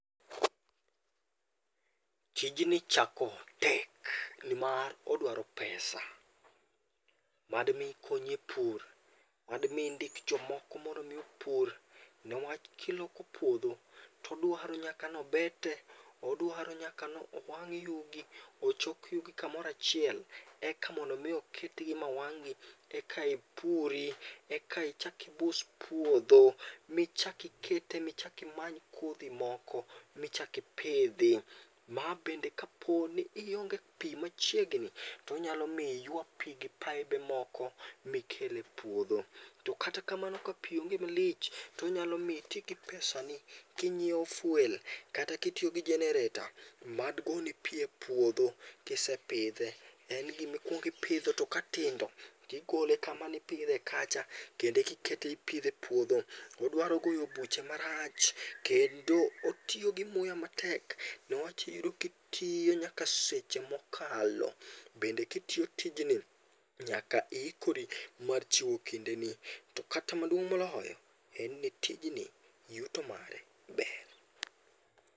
Tijni chako tek nimar odwaro pesa, mad mi okonyi e pur, mad mi indik jomoko mondo mi opur niwach kiloso puodho to odwaro nyaka ni bete, odwaro nyaka ni owang' yugi, ochok yugi kamoro achiel. Eka mondo mi oketgi ma wang'gi, eka ipuri eka ichak ibus puodho michak ikete michak imany kodhi moko michak ipidhi. Ma bende kaponi ionge pi machiegni to onyalo miyo iyua pi gi paibe moko mikel e puodho. To kata kamano ka pi onge malich to onyalo miyo iti gi pesani kinyiewo fuel, kata kitiyo gi jenereta mad goni pi epuodho kisepidhe. En gima ikuongo ipidho to katindo, tigole kama nipidhe kacha, kendo eka ikete ipidhe epuodho. Odwaro goyo buche marach kendo otiyo gi muya matek newach kitiyo nyaka seche mokalo. Bende kitiyo tijni to iikoro mar chiwo ki ndeni. To ata maduong' moloyo, en ni tijni yuto mare ber.